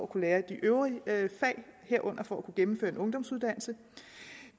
kunne lære de øvrige fag herunder for at kunne gennemføre en ungdomsuddannelse